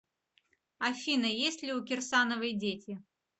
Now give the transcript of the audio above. афина есть ли у кирсановой дети